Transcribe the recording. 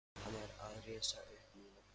Hann er að rísa upp núna.